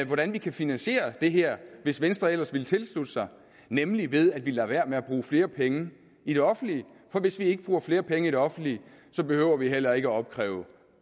hvordan man kan finansiere det her hvis venstre ellers ville tilslutte sig nemlig ved at vi lader være med at bruge flere penge i det offentlige for hvis vi ikke bruger flere penge i det offentlige behøver vi heller ikke at opkræve